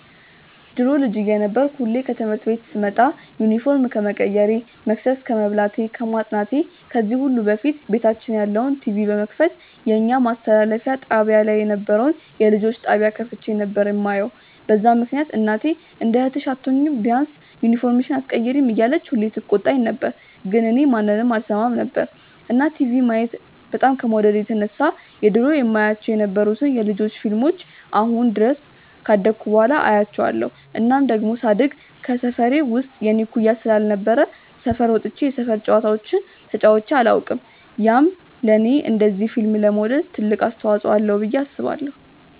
ድሮ ልጅ እየነበርኩ ሁሌ ከትምህርት ቤት ስመጣ ዩኒፎርም ከመቀየሬ፣ መቅሰስ ከመብላቴ፣ ከማጥናቴ ከዚህ ሁሉ በፊት ቤታችን ያለውን ቲቪ በመክፈት የኛ ማስተላለፊያ ጣብያ ላይ የነበረውን የልጆች ጣብያ ከፍቼ ነበር የማየው፤ በዛ ምክንያት እናቴ እንደ እህትሽ አትሆኚም፤ ቢያንስ ዩኒፎርምሽን ኣትቀይሪም እያለች ሁሌ ትቆጣኝ ነበር ግን እኔ ማንንም አልሰማም ነበር። እና ቲቪ ማየት በጣም ከመውደዴ የተነሳ የድሮ የማያቸው የነበሩትን የ ልጆች ፊልሞችን አሁን ድረስ ካደኩ በኋላ አያቸዋለው። እናም ደሞ ሳድግ ከሰፈሬ ውስጥ የኔ እኩያ ስላልነበረ ሰፈር ወጥቼ የሰፈር ጨዋታዎችን ተጫዉቼ ኣላውቅም፤ ያም ለኔ እንደዚ ፊልም ለመውደድ ትልቅ አስተዋፅዎ አለው ብዬ አስባለው።